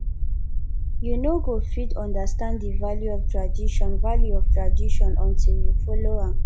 you no go fit understand the value of tradition value of tradition until you follow am